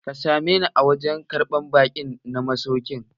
Ka same ni a wurin karɓan baƙi na masaukin!